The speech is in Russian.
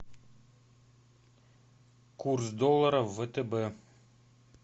курс доллара в втб